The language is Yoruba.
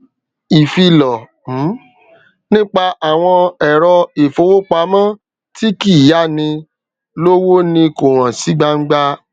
iìfilọ um nípa àwọn ẹrọ ìfowópamọ tí kìí yá ni lówó ni kò hàn sí gbangba